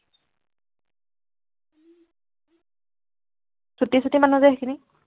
ছুটি ছুটি মানুহ যে সেইখিনি,